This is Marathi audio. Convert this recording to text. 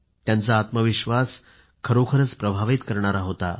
त्यांचा आत्मविश्वास खरोखरीच प्रभावित करणारा होता